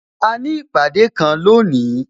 A ní ìpàdé kan lónìí